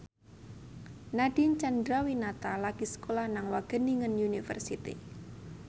Nadine Chandrawinata lagi sekolah nang Wageningen University